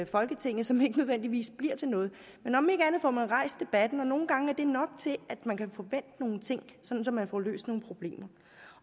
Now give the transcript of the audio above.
folketinget som ikke nødvendigvis bliver til noget men om ikke andet får man rejst debatten og nogle gange er det nok til at man kan få vendt nogle ting så man får løst nogle problemer